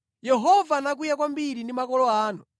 “Yehova anakwiya kwambiri ndi makolo anu.